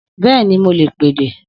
Bẹ́ẹ̀ni, mo lè pèdè